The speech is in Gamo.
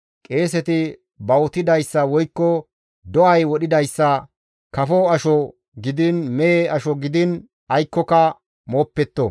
Qeeseti bawutidayssa woykko do7ay wodhidayssa kafo asho gidiin, mehe asho gidiin aykkoka mooppetto.